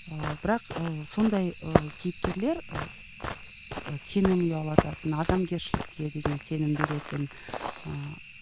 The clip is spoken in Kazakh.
ыыы бірақ ы сондай ы кейіпкерлер ы сенім ұялататын адамгершілікке деген сенім беретін ыыы